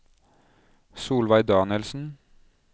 Solveig Danielsen